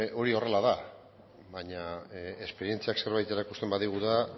hori horrela da baina esperientziak zerbait erakusten badigu da